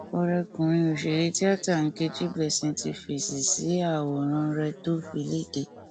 ọrẹkùnrin òṣèré tíátà nkechi blessing ti fèsì sí àwòrán rẹ tó fi léde